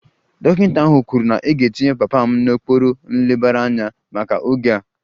Dọkịta ahụ kwuru na a ga-etinye papa m n'okpuru nlebara anya maka oge a